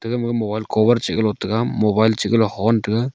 egama mobile cover mobile cover chihgalo tega mobile chihgalo hon tega.